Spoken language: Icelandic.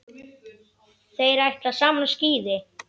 Þeir ætla saman á skíði.